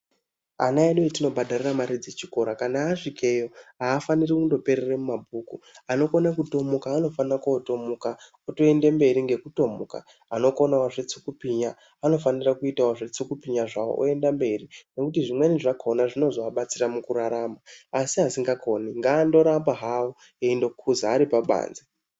Ana edu atinobhadharire mare dzechikora kanaa asvikeyo, aafaniri kundoperere mumabhuku anokone kutomuka anofane kootomuka, otoendemberi ngekutomuka, anokone zvetsukupinya, anofanire kuitawo zvetsukupinya zvawo oenda mberi ngekuti zvimweni zvakona zvinozoabatsira mukurarama asi asikakoni ngaarambe hawo eindokuza ari pabanze.